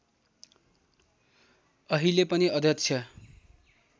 अहिले पनि अध्यक्ष